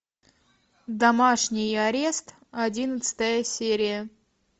домашний арест одиннадцатая серия